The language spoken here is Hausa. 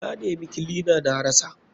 Na nema kilina na na rasa.